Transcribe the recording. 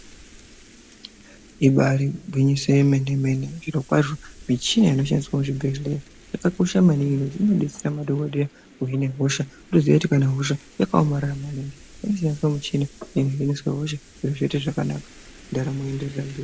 Ibari gwinyiso remene mene zviro kwazvo michina inoshandiswa muzvibhedhlera yakakosha maningi ngekuti inodetsera madhokodheya kuhina hosha ngekuti inoshandiswa kuhina hosha zviro zvoita zvakanaka.